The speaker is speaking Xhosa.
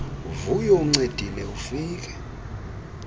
vuyo uncedile ufike